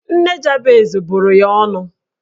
Nne Jabez bụrụ ya ọnụ